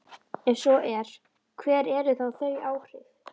Ef svo er, hver eru þá þau áhrif?